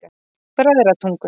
Bræðratungu